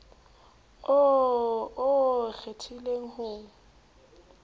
oo o o kgethileng ho